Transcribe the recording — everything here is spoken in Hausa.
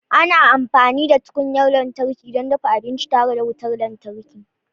Ana amfani da tukunyar lantarki don dafa abinci tare da wutar lantarki.